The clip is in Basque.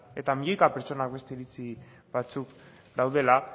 eta milioika pertsonek beste iritzi batzuk dituztela